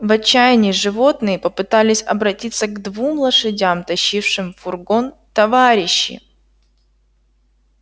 в отчаянии животные попытались обратиться к двум лошадям тащившим фургон товарищи